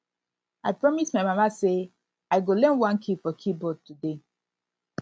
i promise my mama say i go learn one key for keyboard today